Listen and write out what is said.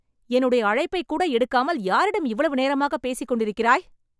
என்னுடைய அழைப்பைக்கூட எடுக்காமல், யாரிடம் இவ்வளவு நேரமாக பேசிக் கொண்டிருக்கிறாய்?